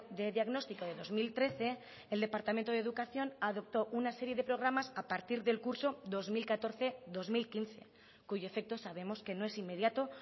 de diagnóstico de dos mil trece el departamento de educación adoptó una serie de programas a partir del curso dos mil catorce dos mil quince cuyo efecto sabemos que no es inmediato